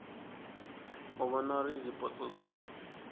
u vhona uri zwipotso zwi